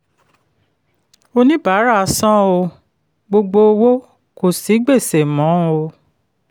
oníbàárà san um gbogbo owó kò sí gbèsè mọ́. um